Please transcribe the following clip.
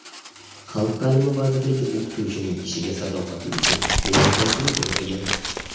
Xalq ta’limi vazirligi o‘qituvchining ishiga sadoqati uchun minnatdorchilik bildirgan.